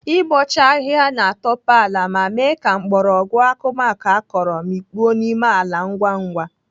Ịbọcha ahịhịa na-atope ala ma mee ka mgbọrọgwụ akụmakụ akọrọ mikpuo n'ime ala ngwa ngwa.